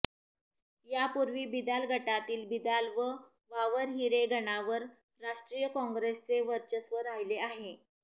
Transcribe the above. यापूर्वी बिदाल गटातील बिदाल व वावरहिरे गणावर राष्ट्रीय काँग्रेसचे वर्चस्व राहिले आहे